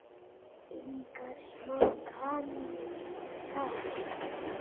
Engar smá kanónur þar!